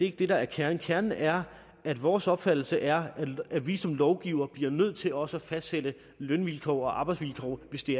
ikke det der er kernen kernen er at vores opfattelse er at vi som lovgivere bliver nødt til også at fastsætte lønvilkår og arbejdsvilkår hvis vi